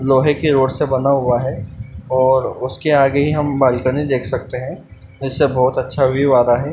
लोहे की रॉड से बना हुआ है और उसके आगे ही हम बालकनी देख सकते हैं जिससे बहुत अच्छा व्यू आ रहा है।